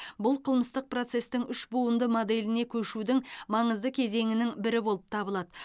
бұл қылмыстық процестің үш буынды моделіне көшудің маңызды кезеңінің бірі болып табылады